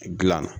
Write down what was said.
Gilan na